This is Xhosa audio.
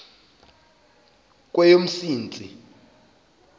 kweyomsintsi